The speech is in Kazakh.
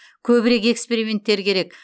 көбірек эксперименттер керек